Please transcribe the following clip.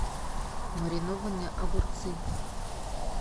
маринованные огурцы